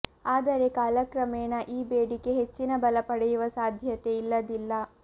ಆದರೆ ಕಾಲಕ್ರಮೇಣ ಈ ಬೇಡಿಕೆ ಹೆಚ್ಚಿನ ಬಲ ಪಡೆಯುವ ಸಾಧ್ಯತೆ ಇಲ್ಲದಿಲ್ಲ